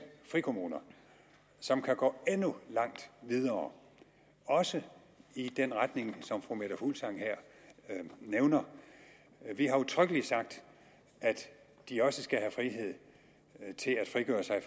frikommuner som kan gå endnu videre også i den retning som fru meta fuglsang her nævner vi har udtrykkeligt sagt at de også skal have frihed til at frigøre sig